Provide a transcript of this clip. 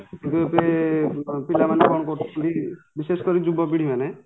କିନ୍ତୁ ଏବେ ପିଲା ମାନେ କ'ଣ କରୁଛନ୍ତି ବିଶେଷକରି ଯୁବପିଢ଼ି ମାନେ